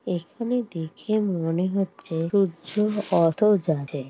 এখানে দেখে মনে হচ্ছে সূর্য অস্ত যাচ্ছে।